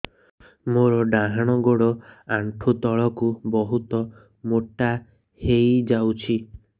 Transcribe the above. ମୋର ଡାହାଣ ଗୋଡ଼ ଆଣ୍ଠୁ ତଳକୁ ବହୁତ ମୋଟା ହେଇଯାଉଛି